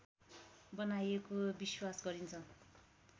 बनाएको विश्वास गरिन्छ